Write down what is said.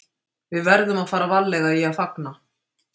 Við verðum að fara varlega í að fagna.